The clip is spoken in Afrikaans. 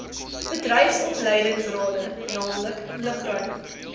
bedryfsopleidingsrade naamlik lugruim